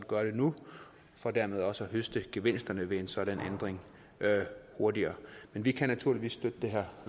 gøre det nu for dermed også at høste gevinsterne ved en sådan ændring hurtigere men vi kan naturligvis støtte det her